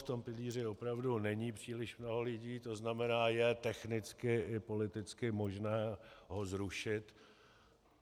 V tom pilíři opravdu není příliš mnoho lidí, to znamená je technicky i politicky možné ho zrušit.